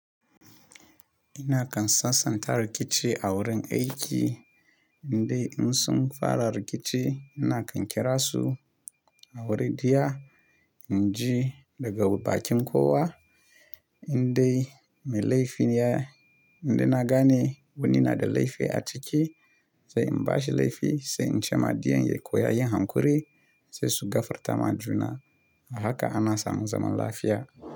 Ina kan sasanta rikici a wurin aiki indai in sum fara rikici. Ina kan kira su a wuri diya, in ji daga bakin kowa indai mai laifi ya, indai na gane wani na da laifi a ciki sai in bashi laifi sai in ce ma diyan ya koya yin hankuri sai su gafarta ma juna. A haka ana samu zaman lafiya.